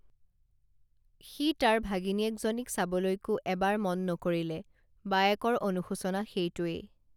সি তাৰ ভাগিনীয়েকজনীক চাবলৈকো এবাৰ মন নকৰিলে বায়েকৰ অনুশোচনা সেইটোৱেই